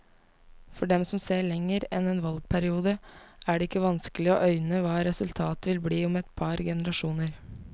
For dem som ser lenger enn en valgperiode, er det ikke vanskelig å øyne hva resultatet vil bli om et par generasjoner.